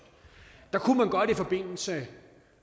der kunne man godt i forbindelse